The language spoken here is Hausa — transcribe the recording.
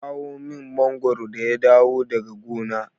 Ya kawo min mangwaro da ya dawo daga gona.